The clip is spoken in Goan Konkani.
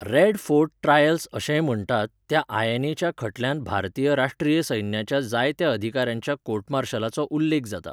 रेड फोर्ट ट्रायल्स अशेंय म्हण्टात त्या आयएनएच्या खटल्यांत भारतीय राश्ट्रीय सैन्याच्या जायत्या अधिकाऱ्यांच्या कोर्ट मार्शलाचो उल्लेख जाता.